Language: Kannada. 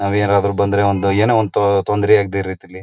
ನಾವ್ ಏನಾದ್ರು ಬಂದ್ರೆ ಒಂದ್ ಏನೋ ಒಂದ್ ತೊಂದ್ರೆ ಆಗ್ದೇ ರೀತಿಲಿ-